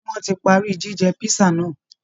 Ṣé wọ́n ti parí jíjẹ písà náà?